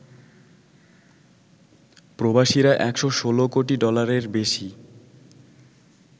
প্রবাসীরা ১১৬ কোটি ডলারের বেশি